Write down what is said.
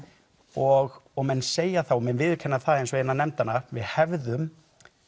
og og menn segja þá og viðurkenna það eins og innan nefndanna við hefðum